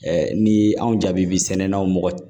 ni anw jaabi sɛnɛnaw mɔgɔ